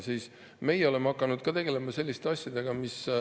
Ometi meie oleme hakanud ka tegelema selliste asjadega.